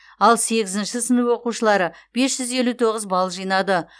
ал сегізінші сынып оқушылары бес жүз елу тоғыз балл жинады